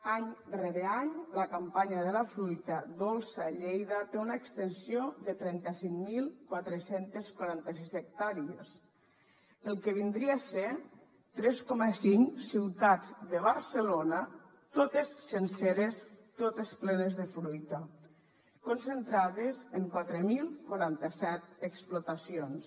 any rere any la campanya de la fruita dolça a lleida té una extensió de trenta cinc mil quatre cents i quaranta sis hectàrees el que vindria a ser tres coma cinc ciutats de barcelona totes senceres totes plenes de fruita concentrades en quatre mil quaranta set explotacions